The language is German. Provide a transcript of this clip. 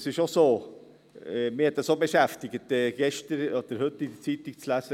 Es ist schon so, mich hat es auch beschäftigt, heute in der Zeitung zu lesen: